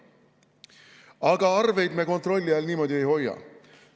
Aga arveid me niimoodi kontrolli all ei hoia.